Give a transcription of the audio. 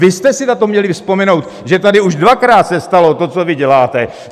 Vy jste si na to měli vzpomenout, že tady už dvakrát se stalo to, co vy děláte.